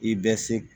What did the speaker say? I bɛ se